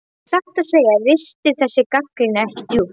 En satt að segja ristir þessi gagnrýni ekki djúpt.